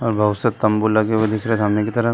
और बहोत से तंबू लगे हुए दिख रहे है सामने की तरफ।